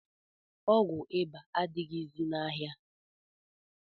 Ọgwụ iba adịghịzi n'ahịa